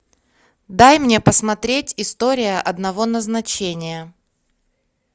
дай мне посмотреть история одного назначения